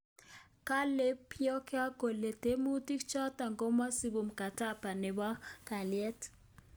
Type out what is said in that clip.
Kale Pyongyang kole tiemutik choto komesubi mkataba nebo kalyet